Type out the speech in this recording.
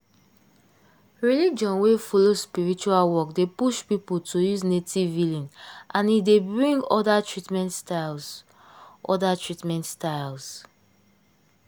religion wey follow spiritual work dey push people to use native healing and e dey bring other treatment styles. other treatment styles.